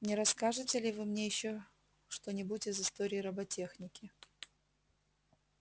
не расскажете ли вы мне ещё что-нибудь из истории роботехники